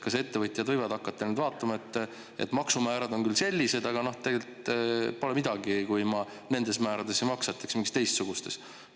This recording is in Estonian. Kas ettevõtjad võivad hakata vaatama, et maksumäärad on küll sellised, aga tegelikult pole midagi, kui ma nendes määrades ei maksa, eks ma siis teistsugustes?